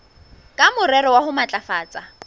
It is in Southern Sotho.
ka morero wa ho matlafatsa